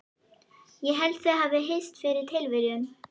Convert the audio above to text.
Ég held þau hafi hist fyrir tilviljun.